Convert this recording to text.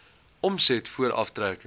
omset voor aftrekkings